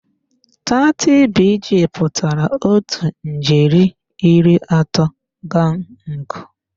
30BG pụtara otu ijeri iri atọ gangụ.